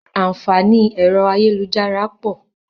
Àǹfààní ẹ̀rọ ayélujára pọ̀